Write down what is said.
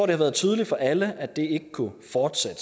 det har været tydeligt for alle at det ikke kunne fortsætte